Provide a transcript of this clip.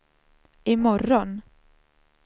imorgon